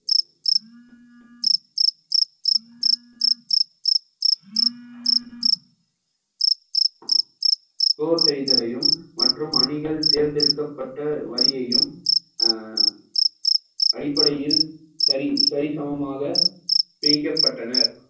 score செய்தலையும் மற்றும் அணிகள் தேர்ந்தெடுக்கப்பட்ட வழியையும் அஹ் அடிப்படையில் சரி~ சரிசமமாக பிரிக்கப்பட்டனர்